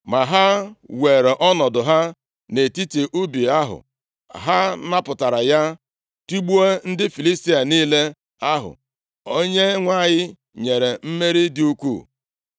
Ma ha were ọnọdụ ha nʼetiti ubi ahụ, ha napụtara ya, tigbuo ndị Filistia niile ahụ. Onyenwe anyị nyere mmeri dị ukwuu.